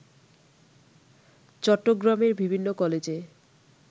চট্টগ্রামের বিভিন্ন কলেজে